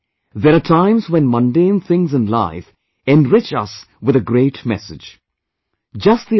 My dear countrymen, there are times when mundane things in life enrich us with a great message